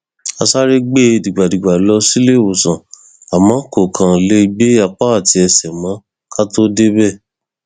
a sáré gbé e dìgbàdìgbà lọ síléèwòsàn àmọ kó kó lè gbé apá àti ẹsẹ mọ ká tóó débẹ